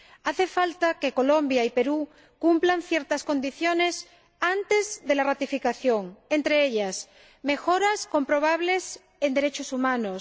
Hace falta que Colombia y Perú cumplan ciertas condiciones antes de la ratificación, entre ellas mejoras comprobables en materia de derechos humanos